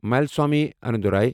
ملسوامی انندورای